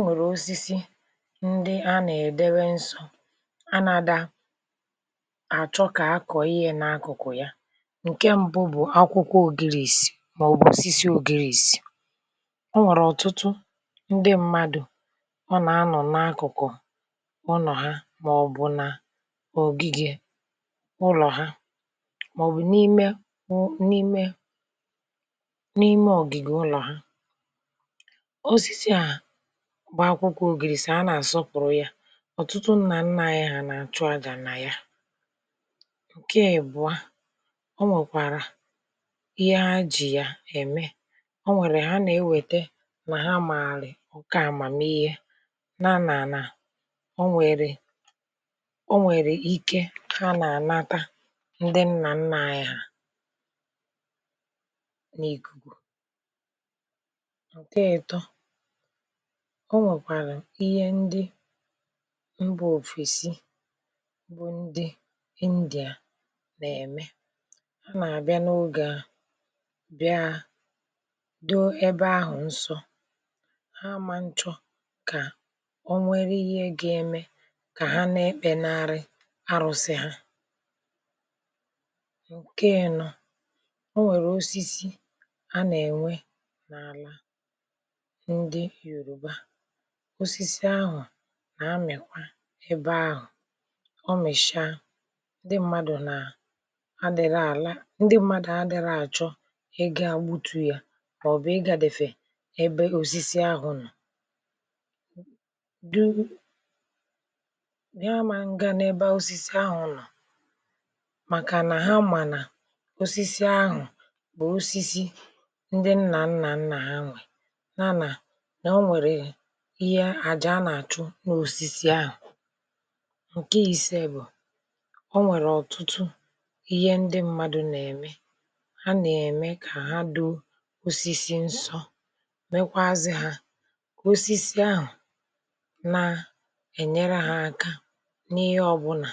O nwere osisi ndị a na-edewe nsọ a na da achọ ka a kọọ ihe n'akụkụ ya. Nke mbụ bụ akwụkwọ Ogirirsi maọbụ osisi Ogirirsi. O nwere ọtụtụ ndị mmadụ ọ na anọ n'akụkụ ụnọ ha maọbụ n'ogige ụlọ ha maọbụ n'ime m n'ime n'ime ogige ụlọ ha. Osisi a bụ akwụkwọ Ogirirsi a na-asọpụrụ ya. Ọtụtụ nna nna anyị ha na-achụ aja na ya. Nke ị́bụa, o nwekwara ihe ha ji ya eme. O nwere ha na-ewete na ha maarị oké amamihe na na na o nwere ike ha na-anata ndị nna nna anyị ha n'ikuku. O nwekwara ihe ndị mba ofesi bụ ndị India na-eme. Ha na-abịa n'oge a bịa doo wbe ahụ nsọ. Ha aman chọ ka o nwere ihe ga-eme ka ha dị ekpenarụ arụsị ha. Nke ị́nọ, o nwere osisi a na-enwe n'ala ndị Yoruba. Osisi ahụ na-amịkwa ebe ahụ. Ọ mịchaa, ndị mmadụ na adịla ala ndị mmadụ adịrọ achọ ị gaa gbutu ya maọbụ ịgadefe ebe osisi ahụ nọ. du a man ga n'ebe osisi ahụ nọ maka na ha ma na osisi ahụ bụ osisi ndị nna nna nna ha na na na o nwere ihe àjà ha na-achụ n'osisi ahụ. Nke ise bụ, o nwere ọtụtụ ihe ndị mmadụ na-eme. Ha na-eme ka ha doo osisi nsọ mekwazị ha osisi ahụ na enyere ha aka n'ihe ọbụna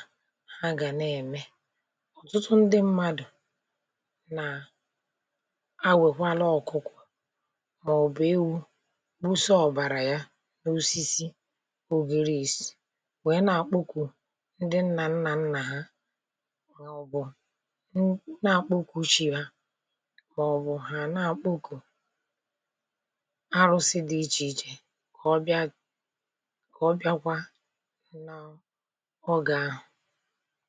ha ga na-eme. Ọtụtụ ndị mmadụ na awekwalụ ọkụkọ maọbụ ewu gbusa ọbara ya n'osisi Ogirirsi wee na-akpọku ndị nna nna nna ha maọbụ n na-akpọku chi va maọbụ ha a na-akpọku arụsị dị iche iche ka ọ bịa ka ọ bịakwa na oge a a